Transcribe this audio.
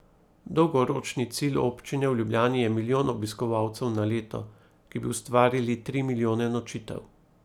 Dolgoročni cilj občine v Ljubljani je milijon obiskovalcev na leto, ki bi ustvarili tri milijone nočitev.